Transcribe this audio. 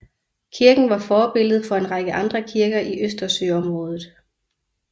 Kirken var forbillede for en række andre kirker i Østersøområdet